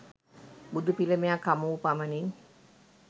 බුදු පිළිමයක් හමුවූ පමණින්